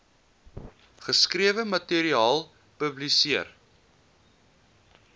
geskrewe materiaal publiseer